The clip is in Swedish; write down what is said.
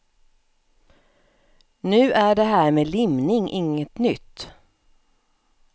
Nu är det här med limning inget nytt.